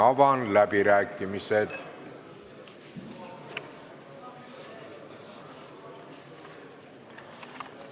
Avan läbirääkimised.